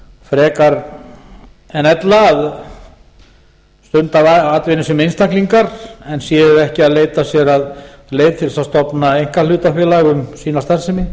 frekar en ella að stunda atvinnu sem einstaklingar en séu ekki að leita sér að leið til þess að stofna einkahlutafélag um sína starfsemi